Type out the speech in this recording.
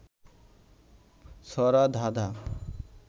ছড়া, ধাঁধা